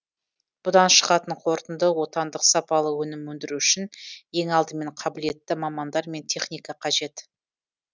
бұдан шығатын қортынды отандық сапалы өнім өндіру үшін ең алдымен қабілетті мамандар мен техника қажет